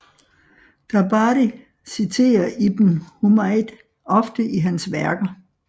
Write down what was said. Tabari citerer ibn Humayd ofte i hans værker